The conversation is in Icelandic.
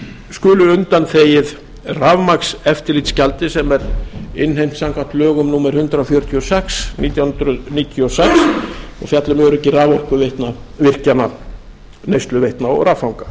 skuli undanþegið rafmagnseftirlitsgjaldi sem er innheimt samkvæmt lögum númer hundrað fjörutíu og sex nítján hundruð níutíu og sex og fjalla um öryggi raforkuvirkjana neysluveitna og raffanga